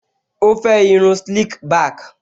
Ó fẹ́ irun slick back